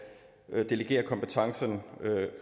delegere kompetencen